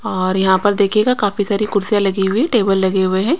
और यहां पर देखिएगा काफी सारी कुर्सियांलगी हुई है टेबल लगे हुए हैं.